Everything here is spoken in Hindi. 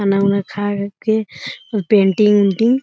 खाना-उना खाए के पेंटिंग उन्टिंग --